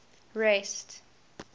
rest